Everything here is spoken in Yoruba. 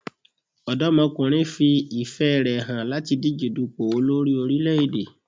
Ọ̀dọ́mọkùnrin fi ìfẹ́ rè hàn láti díje dùpò olórí orílẹ̀-èdè.